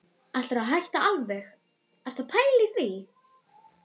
Ætlarðu að hætta alveg. ertu að pæla í því?